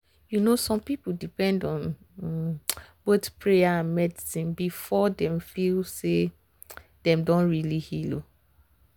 you know some people dey depend on um both prayer and medicine before um dem feel say dem don really heal. heal.